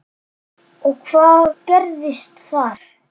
Og hvað gerðist þar?